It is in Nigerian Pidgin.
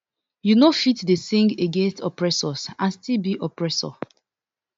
you no fit dey sing against oppressors and still be oppressor